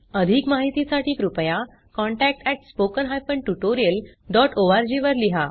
अधिक माहितीसाठी कृपया contact at spoken hyphen tutorial dot ORG वर लिहा